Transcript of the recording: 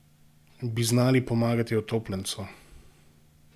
Bi znali pomagati utopljencu?